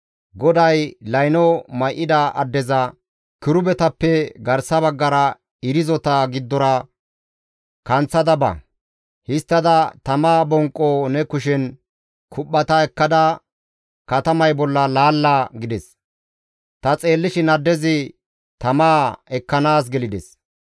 GODAY layno may7ida addeza, «Kirubetappe garsa baggara irzota giddora kanththada ba; histtada tama bonqo ne kushen kuphphata ekkada, katamay bolla laalla» gides. Ta xeellishin addezi tamaa ekkanaas gelides.